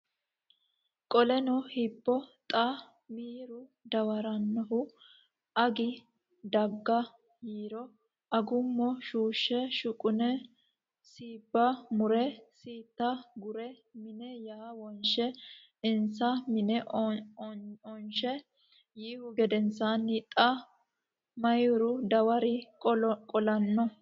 Qoleno hibbo xa mihura dawarannohu Agi daga yiiro Agummo shuushshe shuqune siibba mure siitta gure mine ya wonshe insa mine onche yiihu gedensaanni xa mihura dawaro qolanno !